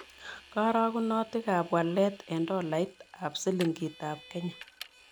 Karogunotikap walet eng' tolait ak silingitap kenya